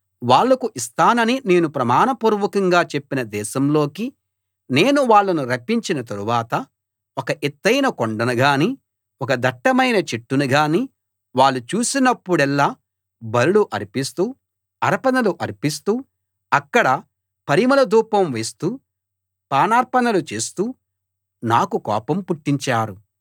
వాళ్లకు ఇస్తానని నేను ప్రమాణపూర్వకంగా చెప్పిన దేశంలోకి నేను వాళ్ళను రప్పించిన తరువాత ఒక ఎత్తయిన కొండను గాని ఒక దట్టమైన చెట్టును గాని వాళ్ళు చూసినప్పుడెల్లా బలులు అర్పిస్తూ అర్పణలు అర్పిస్తూ అక్కడ పరిమళ ధూపం వేస్తూ పానార్పణలు చేస్తూ నాకు కోపం పుట్టించారు